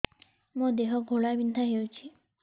ମୋ ଦେହ ଘୋଳାବିନ୍ଧା ହେଉଛି